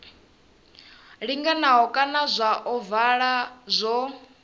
linganaho kana zwa ovala zwo